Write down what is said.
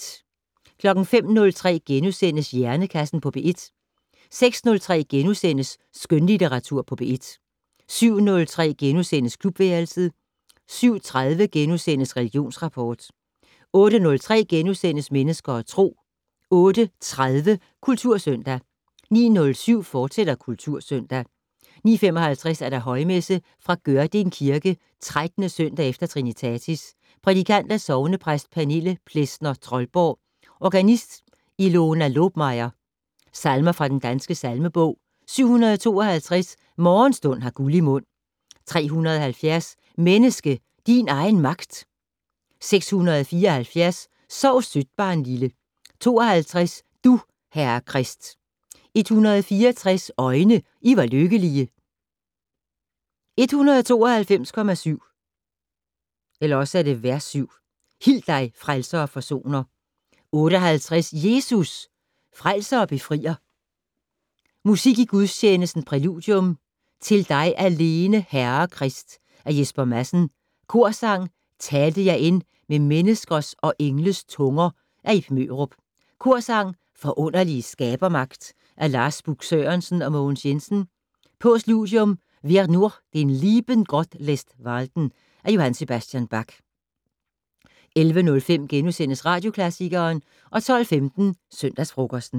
05:03: Hjernekassen på P1 * 06:03: Skønlitteratur på P1 * 07:03: Klubværelset * 07:30: Religionsrapport * 08:03: Mennesker og Tro * 08:30: Kultursøndag 09:07: Kultursøndag, fortsat 09:55: Højmesse - Fra Gørding Kirke. 13. søndag efter trinitatis. Prædikant: Sognepræst Pernille Plesner Troldborg. Organist: Ilona Lobmayer. Salmer fra den danske salmebog: 752: "Morgenstund har guld i mund". 370: "Menneske, din egen magt". 674: "Sov sødt, barnlille!". 52: "Du, Herre Krist". 164: "Øjne, I var lykkelige". 192,7: "Hil dig, Frelser og forsoner". 58: "Jesus! Frelser og Befrier". Musik i gudstjenesten: Præludium: " Til dig alene, Herre Krist " af Jesper Madsen. Korsang: "Talte jeg end med menneskers og engles tunger" af Ib Mørup. Korsang: "Forunderlige skabermagt" af Lars Busk Sørensen og Mogens Jensen. Postludium: " Wer nur den lieben Gott lässt walten " af J.S.Bach. 11:05: Radioklassikeren * 12:15: Søndagsfrokosten